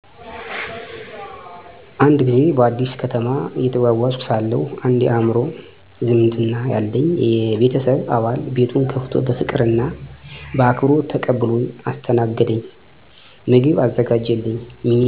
አዎ፣ እኔን በደንብ ተቀብሎ ያስተናገደኝ አንድ ሰው ያስታውሳልኝ። ማስታወሻ፦ አንድ ጊዜ በአዲስ ከተማ እየተጓዝኩ ሳለሁ አንድ የአእምሮ ዝምድና ያለኝ የቤተሰብ አባል ቤቱን ከፍቶ በፍቅር እና በአክብሮት ተቀብሎኝ አስተናገደኝ። ምግብ አዘጋጀልኝ፣ መኝታ አዘጋጀ፣ ከተማውንም አሳየኝ። ያ ቀን ተቀባይነት እና የሰውነት እሴት ተሞልቶ ነበር። ምክንያቱ? በልቡ ያለው ክብር፣ ልጅነትና ሰውነትን የሚከብር ባህላዊ እሴት ነበር። ያ እርሱ ከሰጠኝ ሙያዊ እና ሰውነታዊ አካል የሆነ መንፈሳዊ ትምህርት ነበር።